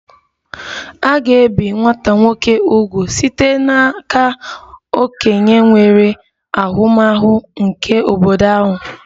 A ga-ebi nwata nwoke úgwù site n'aka okenye nwere ahụmahụ nke obodo ahụ